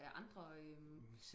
af andre øhm